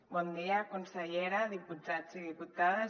bon dia consellera diputats i diputades